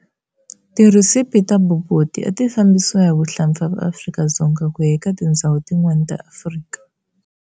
Ti recipe ta Bobotie ati fambisiwa hi vahlapfa va Afrika-Dzonga kuya eka tindzhawu tin'wana ta Afrika.